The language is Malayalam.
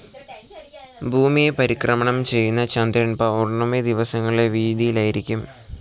ഭൂമിയെ പരിക്രമണം ചെയ്യുന്ന ചന്ദ്രൻ പൌർണമി ദിവസങ്ങളിൽ വിയുതിയിലായിരിക്കും.